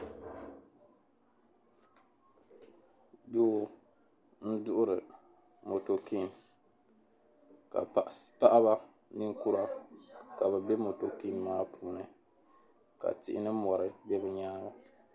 Doo n-duɣiri "motorking" ka paɣaba ninkura ka bɛ be "motorking" maa puuni ka tihi ni mɔri gba be bɛ nyaaŋa.